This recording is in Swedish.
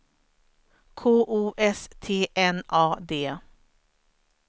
K O S T N A D